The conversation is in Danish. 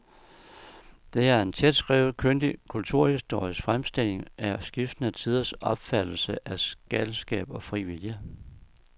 Det er en tætskrevet, kyndig kulturhistorisk fremstilling af skiftende tiders opfattelse af galskab og fri vilje.